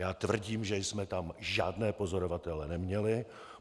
Já tvrdím, že jsme tam žádné pozorovatele neměli.